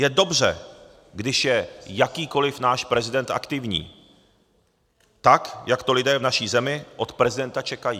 Je dobře, když je jakýkoliv náš prezident aktivní, tak jak to lidé v naší zemi od prezidenta čekají.